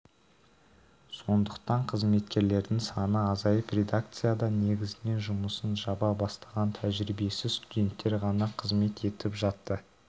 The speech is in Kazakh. сондықтан қызметкерлердің саны азайып редакцияда негізінен жұмысын жаңа бастаған тәжірибесіз студенттер ғана қызмет етіп жатты